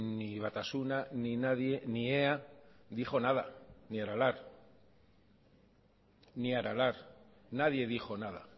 ni batasuna ni nadie ni ea dijo nada ni aralar ni aralar nadie dijo nada